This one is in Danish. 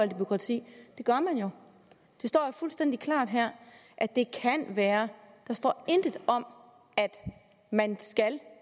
det bureaukrati det gør man jo det står jo fuldstændig klart her at det kan være der står intet om at man